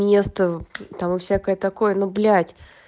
место там и всякое такое но блять